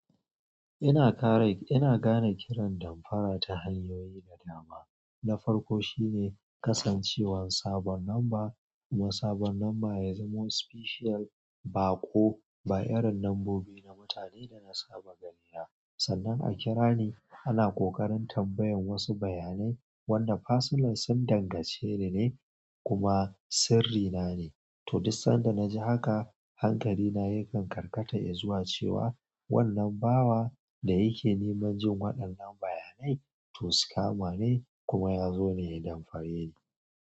Ina kare, ina gane kiran damfara ta hanyoyi da dama. Na farko shine kasancewar sabon lamba kuma sabon lamba ya zamo special ba ko ba irin lambobi na mutane da na saba gani ba. Sannan a kira ni ana ƙoƙarin tambayan wasu bayanai wanda pasonal sun dangance ni ne kuma sirri na ne. To duk sanda na ji haka hankali na yakan karkata e zuwa cewa wannan bawa da yake neman jin waɗannan bayanai to scama ne kuma ya zo ne danfare ni.